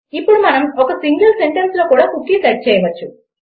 ఇప్పుడు మనం ఒక సింగిల్ సెంటెన్స్లో కూడా కుకీ సెట్ చేయగలము